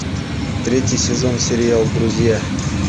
третий сезон сериал друзья